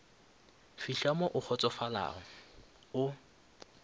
fihla mo o kgotsofalago o